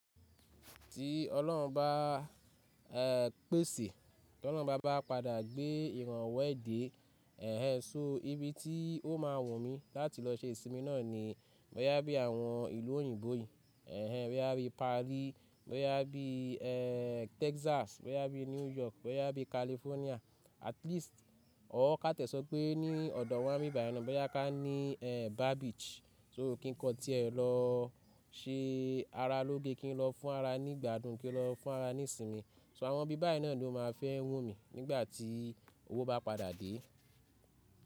Tí Ọlọ́run bá pèsè, tí Ọlọ́run bá bá padà gbé ìrànwọ́ èdè, ṣo ibi tí ó máa wù mí láti lọ ṣe ìsinmi náà ni, bóyá bí àwọn ìlú òyìnbó yìí, bóyá bí Paris, bóyá bí Texas, bóyá bí New York, bóyá bí California, at least or ká tẹ̀sọ́ pé ní ọ̀dọ̀ wá ni báyìí náà, bóyá ká ní Bar Beach. So kí n kọ tí ẹ lọ ṣe ara lóge, kí n lọ fún ara nígbà dùn, kí n lọ fún ara ní ìsinmi. So àwọn ibi báyìí náà ni ó máa fẹ́ wù mí nígbà tí owó bá padà dé.